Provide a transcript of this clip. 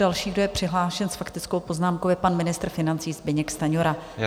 Další, kdo je přihlášen s faktickou poznámkou, je pan ministr financí Zbyněk Stanjura.